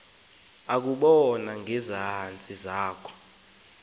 bakoba bevene ngekhazi